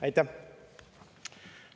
Aitäh!